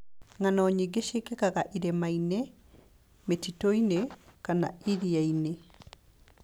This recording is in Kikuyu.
Ng'ano nyingĩ ciĩkĩkaga irĩma-inĩ, mĩtitũ-inĩ, kana iria-inĩ.